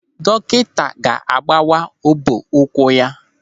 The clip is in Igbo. Dọkịta ga-agbawa ọbọ ụkwụ ya.